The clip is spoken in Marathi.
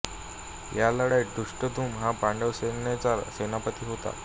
या लढाईत धृष्टद्युम्न हा पांडव सैन्याचा सेनापती होता